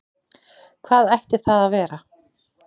Hvað ætti það að vera?